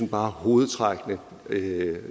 bare hovedtrækkene